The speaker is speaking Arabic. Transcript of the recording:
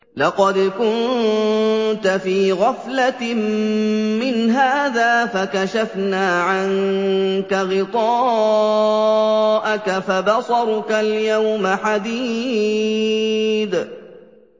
لَّقَدْ كُنتَ فِي غَفْلَةٍ مِّنْ هَٰذَا فَكَشَفْنَا عَنكَ غِطَاءَكَ فَبَصَرُكَ الْيَوْمَ حَدِيدٌ